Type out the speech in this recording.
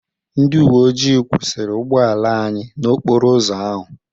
Ndị uwe ojii kwụsịrị ụgbọala anyị n'okporo ụzọ ahụ.